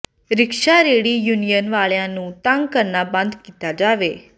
rickshaw ਰੇਹੜੀ union ਵਾਲਿਆਂ ਨੂੰ ਤੰਗ ਕਰਨਾ ਬੰਦ ਕੀਤਾ ਜਾਵੇ